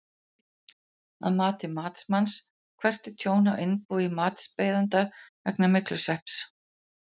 Að mati matsmanns, hvert er tjón á innbúi matsbeiðanda vegna myglusvepps?